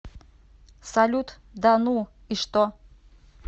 салют да ну и что